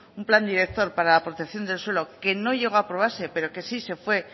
un plan director para la protección del suelo que no llegó a aprobarse pero sí se fue